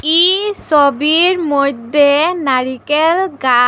ই সবির মইদ্যে নারিকেল গা--